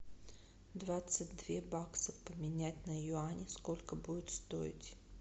двадцать две бакса поменять на юани сколько будет стоить